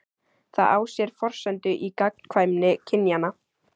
Það á sér forsendu í gagnkvæmni kynjanna.